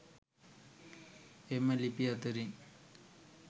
එම ලිපි අතරින්